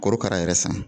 Korokara yɛrɛ san